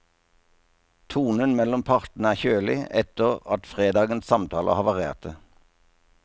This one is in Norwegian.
Tonen mellom partene er kjølig, etter at fredagens samtaler havarerte.